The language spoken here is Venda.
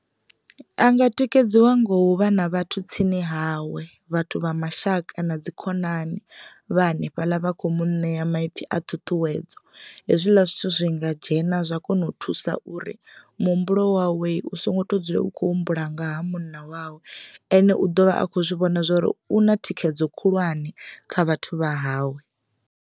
Anga tikedziwa ngo vha na vhathu tsini hawe vhathu vha mashaka na dzikhonani vha hanefhaḽa vha kho mu ṋea maipfi a ṱhuṱhuwedzo, hezwiḽa zwithu zwi nga dzhena zwa kona u thusa uri muhumbulo wawe u songo to dzula u kho humbula nga ha munna wawe ene u ḓovha a kho zwi vhona zwori u na thikhedzo khulwane kha vhathu vha hawe.